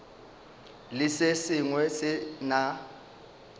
le se sengwe se na